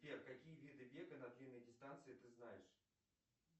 сбер какие виды бега на длинные дистанции ты знаешь